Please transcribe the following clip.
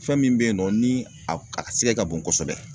Fɛn min be yen nɔ ni a b a sɛgɛ ka bon kosɛbɛ